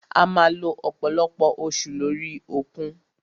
A máà lo ọ̀pọ̀lọpọ̀ oṣù lórí òkun.